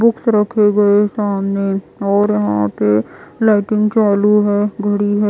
Books रखे गए सामने और यहाँ पे लाइटिंग चालू है घड़ी है।